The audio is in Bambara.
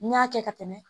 N y'a kɛ ka tɛmɛ